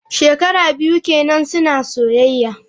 Shekara biyu kenan suna soyayya.